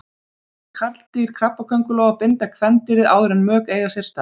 Karldýr krabbaköngulóa binda kvendýrið áður en mök eiga sér stað.